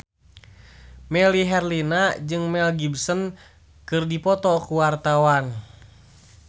Melly Herlina jeung Mel Gibson keur dipoto ku wartawan